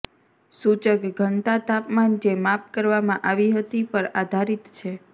સૂચક ઘનતા તાપમાન જે માપ કરવામાં આવી હતી પર આધારિત છે